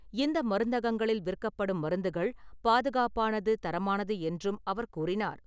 இந்த மருந்தகங்களில் விற்கப்படும் மருந்துகள் பாதுகாப்பானது, தரமானது என்றும் அவர் கூறினார்.